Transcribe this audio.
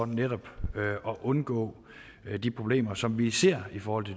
netop at undgå de problemer som vi ser i forhold til